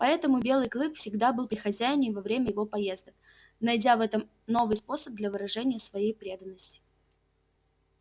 поэтому белый клык всегда был при хозяине во время его поездок найдя в этом новый способ для выражения своей преданности